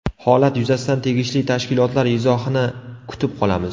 Holat yuzasidan tegishli tashkilotlar izohini kutib qolamiz.